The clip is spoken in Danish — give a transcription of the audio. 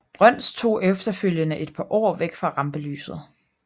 Brøns tog efterfølgende et par år væk fra rampelyset